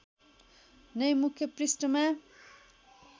नै मुख्य पृष्ठमा